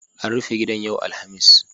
An rufe gidan yau Alhamis.